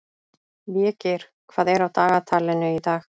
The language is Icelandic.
Végeir, hvað er á dagatalinu í dag?